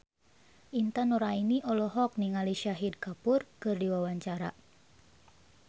Intan Nuraini olohok ningali Shahid Kapoor keur diwawancara